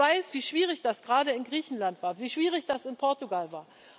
Ich weiß, wie schwierig das gerade in Griechenland war, wie schwierig das in Portugal war.